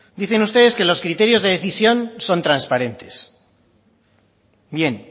dicen ustedes que los criterios de decisión son transparentes bien